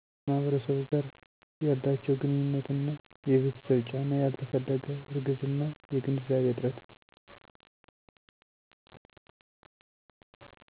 ከማህበረሰቡ ጋር ያላችው ግንኙነት እና የቤተሰብ ጫና ያልተፈለገ እርግዝና የግንዛቤ እጥረት